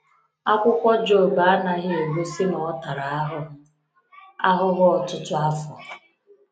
Akwụkwọ Job anaghị egosi na ọ tara ahụhụ ahụhụ ọtụtụ afọ.